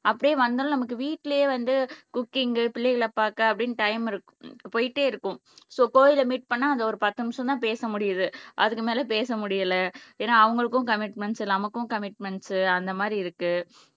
அப்படியே வந்தாலும் நமக்கு வீட்டிலேயே வந்து குக்கிங், பிள்ளைகளை பார்க்க அப்படின்னு டைம் போயிட்டே இருக்கும் சோ கோயிலை மீட் பண்ணா அது ஒரு பத்து நிமிஷம் தான் பேச முடியுது அதுக்கு மேல பேச முடியல ஏன்னா அவங்களுக்கும் கமிட்மெண்ட்ஸ் நமக்கும் கமிட்மெண்ட்ஸ் அந்த மாதிரி இருக்கு